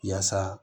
Yaasa